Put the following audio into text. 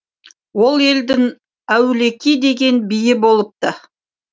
ол елдің әулеки деген биі болыпты